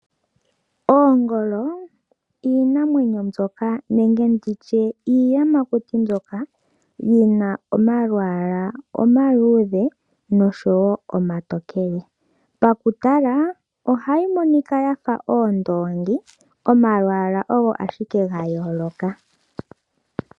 Oongolo, iinamwenyo mbyoka nenge nditye iiyamakuti mbyoka yina omalwaala omaluudhe oshowo omatookele. Pakutala ohaya monika yafa oondongi, omalwaala ogo ashike ga yooloka.